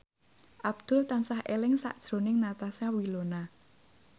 Abdul tansah eling sakjroning Natasha Wilona